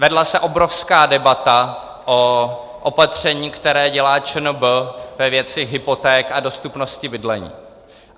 Vedla se obrovská debata o opatření, které dělá ČNB ve věci hypoték a dostupnosti bydlení.